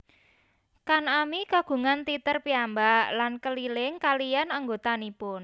Kan ami kagungan teater piyambak lan keliling kaliyan anggotanipun